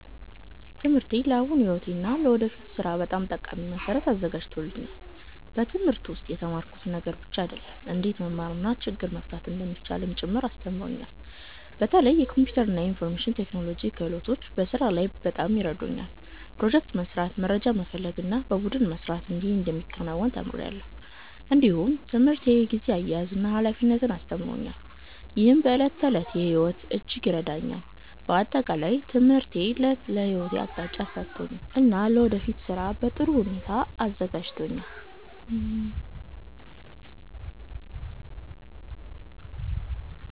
ትምህርቴ ለአሁኑ ሕይወቴ እና ለወደፊት ሥራ በጣም ጠቃሚ መሠረት አዘጋጅቶኛል። በትምህርት ውስጥ የተማርኩት ነገር ብቻ አይደለም፣ እንዴት መማር እና ችግር መፍታት እንደሚቻል ጭምር አስተምሮኛል። በተለይ የኮምፒውተር እና የኢንፎርሜሽን ቴክኖሎጂ ክህሎቶች በስራ ላይ በጣም ይረዱኛል። ፕሮጀክት መስራት፣ መረጃ መፈለግ እና በቡድን መስራት እንዴት እንደሚከናወን ተምሬአለሁ። እንዲሁም ትምህርት የጊዜ አያያዝን እና ኃላፊነትን አስተምሮኛል፣ ይህም በዕለት ተዕለት ሕይወቴ እጅግ ይረዳኛል። በአጠቃላይ ትምህርቴ ለሕይወቴ አቅጣጫ ሰጥቶኛል እና ለወደፊት ሥራ በጥሩ ሁኔታ አዘጋጅቶኛል።